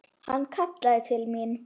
Hann kallaði til mín.